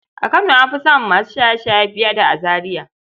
A kano an fi samun masu shaye-shaye fiye da a Zariya.